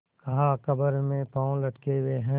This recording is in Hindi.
कहाकब्र में पाँव लटके हुए हैं